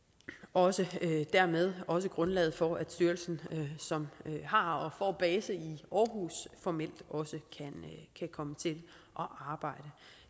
og dermed også grundlaget for at styrelsen som har og får base i aarhus formelt også kan komme til at arbejde